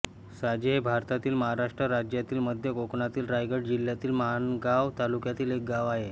साजे हे भारतातील महाराष्ट्र राज्यातील मध्य कोकणातील रायगड जिल्ह्यातील माणगाव तालुक्यातील एक गाव आहे